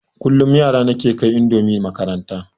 Kullum yara na ke kai indomi makaranta